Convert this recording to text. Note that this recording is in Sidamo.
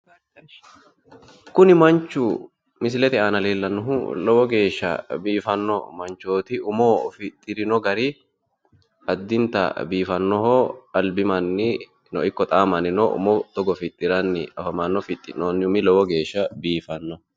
Kuni manchu misilete aana leelanohu lowo geehsha biifanoho umo fixirino gari albi mannino lowo geeshsha biifano togo fixiriro